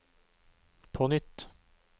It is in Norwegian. på nytt